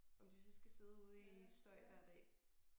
Om de så skal sidde ude i støj hver dag